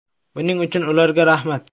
Buning uchun ularga rahmat.